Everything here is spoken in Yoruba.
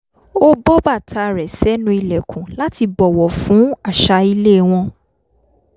ó bọ́ bàtà rẹ̀ sẹ́nu ìlẹ̀kùn láti bọ̀wọ̀ fún àṣà ilé wọn